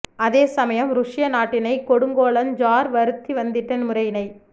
அதே சமயம் ருஷ்ய நாட்டினைக் கொடுங்கோலன் ஜார் வருத்தி வந்திட்ட முறையினைக்